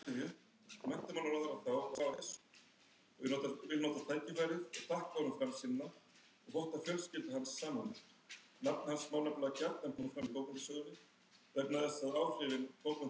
Gestirnir klöppuðu yfir sig hrifnir